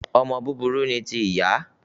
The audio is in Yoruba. Ọmọ burúkú ni ti ìyá